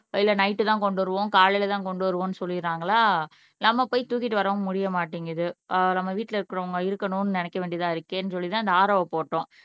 இல்ல நைட்டு தான் கொண்டு வருவோம் காலையில தான் கொண்டு வருவோன்னு சொல்லிடுறாங்களா நம்ம போய் தூக்கிட்டு வரவும் முடிய மாட்டேங்குது ஆஹ் நம்ம வீட்ல இருக்கிறவங்க இருக்கணும்னு நினைக்க வேண்டியது தான் இருக்கேன்னு சொல்லிட்டு தான் இந்த RO போட்டோம்